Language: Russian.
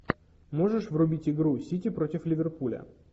можешь врубить игру сити против ливерпуля